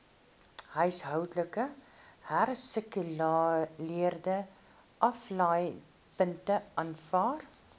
huishoudelike hersirkuleringsaflaaipunte aanvaar